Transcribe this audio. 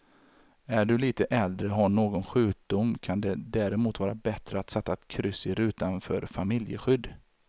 Är du lite äldre och har någon sjukdom kan det därmot vara bättre att sätta ett kryss i rutan för familjeskydd.